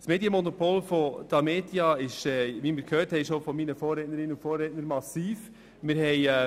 Das Medienmonopol von Tamedia ist massiv, wie wir bereits von meinen Vorrednerinnen und Vorrednern gehört haben.